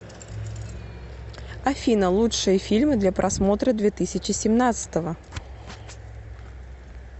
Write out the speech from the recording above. афина лучшие фильмы для просмотра две тысячи семнадцатого